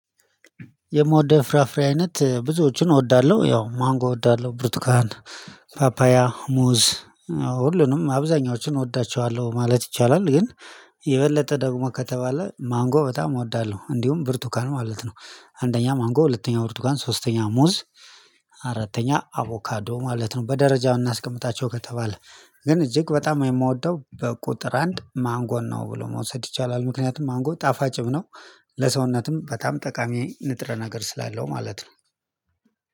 የምወደው ፍራፍሬ አይነት ብዙዎቹን እወዳለሁ ያው ማንጎ እወዳለሁ ብሩትካን ፓፓያ ሙዝ ሁሉንም አብዛኞቹን እወዳቸዋለሁ ማለት ይቻላል። ግን የበለጠ ደግሞ ከተባለ ማንጎ በጣም እወዳለሁ እንዲሁም ብርቱካን ማለት ነው። አንደኛ ማንጎ ሁለተኛ ብርቱካን ሶስተኛ ሙዝ አራተኛ አቮካዶ ማለት ነው። በደረጃው እናስቀምጣቸው ከተባለ ግን እጅግ በጣም የምወደው በቁጥር አንድ ማንጎን ነው ብሎ መውሰድ ይቻላል። ምክንያቱም ማንጎ ጣፋጭም ነው ለሰውነትም በጣም ጠቃሚ ንጥረ ነገር ስላለው ማለት ነው።